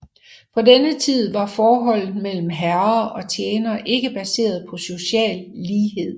På denne tid var forholdet mellem herrer og tjenere ikke baseret på social lighed